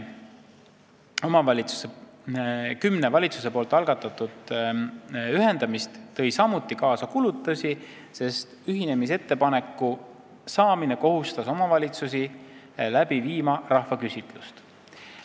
Valitsuse algatatud, kuid lõpule viimata kümme ühendamist tõi samuti kaasa kulutusi, sest ühinemisettepaneku saamine kohustas omavalitsusi korraldama rahvaküsitlust.